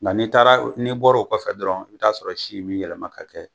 Nka n'i taara n'i bɔra o kɔfɛ dɔrɔn i bi t'a sɔrɔ si bi yɛlɛma ka kɛ.